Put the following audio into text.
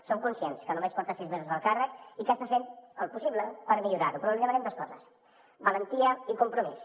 som conscients que només porta sis mesos al càrrec i que està fent el possible per millorar ho però li demanem dos coses valentia i compromís